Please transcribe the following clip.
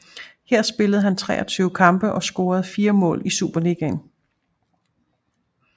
Her spillede han 23 kampe og scorede 4 mål i Superligaen